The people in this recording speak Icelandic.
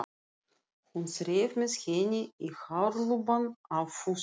Hún þreif með henni í hárlubbann á Fúsa.